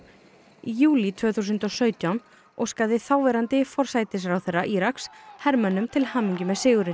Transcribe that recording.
í júlí tvö þúsund og sautján óskaði þáverandi forsætisráðherra Íraks hermönnum til hamingju með sigurinn